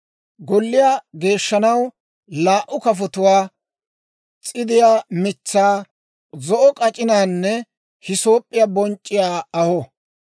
Golliyaa geeshshanaw laa"u kafotuwaa, s'idiyaa mitsaa, zo'o k'ac'inaanne hisoop'p'iyaa bonc'c'iyaa aho.